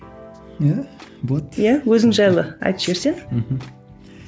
иә болады иә өзің жайлы айтып жіберсең мхм